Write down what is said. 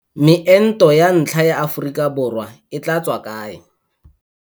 Meento ya ntlha ya Aforika Borwa e tla tswa kae?